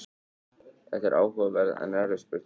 þetta er áhugaverð en erfið spurning